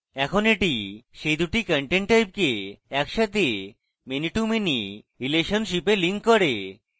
এখন এটি সেই দুটি content type কে একসাথে many to many relationship a links করে